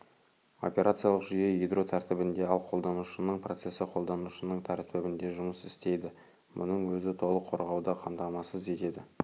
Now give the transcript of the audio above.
операциялық жүйе ядро тәртібінде ал қолданушының процесі қолданушының тәртібінде жұмыс істейді мұның өзі толық қорғауды қамтамасыз етеді